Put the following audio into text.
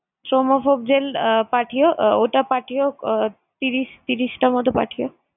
thrombophob gel আহ পাঠিও, ওটা পাঠিও আহ ত্রিশ~ ত্রিশটার মতো পাঠিও।